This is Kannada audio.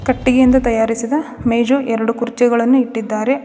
ಕಟ್ಟಿಗೆಯಿಂದ ತಯಾರಿಸಿದ ಮೇಜು ಎರಡು ಕುರ್ಚಿಗಳನ್ನು ಇಟ್ಟಿದ್ದಾರೆ.